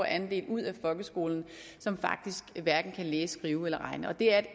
andel ud af folkeskolen som faktisk hverken kan læse skrive eller regne og det er